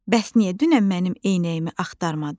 Bəs niyə dünən mənim eynəyimi axtarmadın?